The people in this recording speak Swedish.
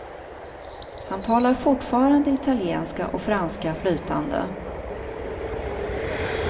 Han talar fortfarande italienska och franska flytande.